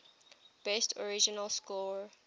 best original score